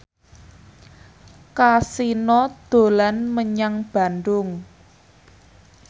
Kasino dolan menyang Bandung